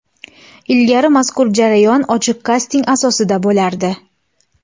Ilgari mazkur jarayon ochiq kasting asosida bo‘lardi.